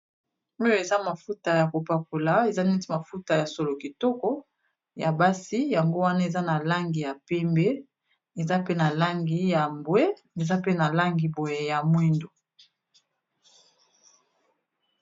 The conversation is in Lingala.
Oyo eza mafuta ya kopakola eza neti mafuta ya solo kitoko ya basi yango wana eza na langi ya pembe eza pe na langi ya mbwe eza pe na langi boye ya mwindu.